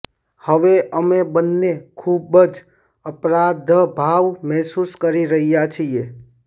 હવે અમે બંને ખૂબ જ અપરાધભાવ મહેસૂસ કરી રહ્યાં છીએ